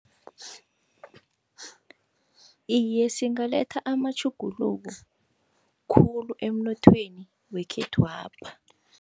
Iye, singaletha amatjhuguluko khulu emnothweni wekhethwapha.